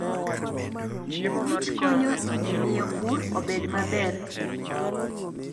kichkonyo e miyo pur obed maber.